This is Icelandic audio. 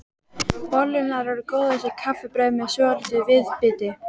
Bollurnar eru góðar sem kaffibrauð með svolitlu viðbiti.